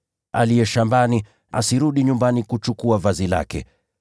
Aliye shambani asirudi nyumbani kuchukua vazi lake.